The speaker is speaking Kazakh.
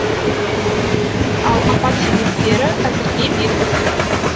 ал апат себептері әзірге белгісіз